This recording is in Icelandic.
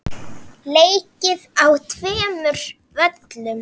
Leikið er á tveimur völlum.